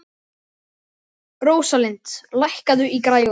Rósalind, lækkaðu í græjunum.